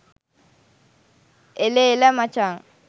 එළ එළ මචං